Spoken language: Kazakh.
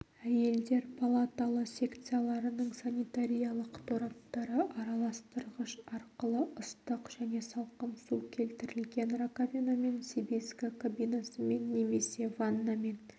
әйелдер палаталы секцияларының санитариялық тораптары араластырғыш арқылы ыстық және салқын су келтірілген раковинамен себезгі кабинасымен немесе ваннамен